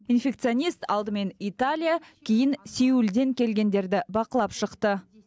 инфекционист алдымен италия кейін сеулден келгендерді бақылап шықты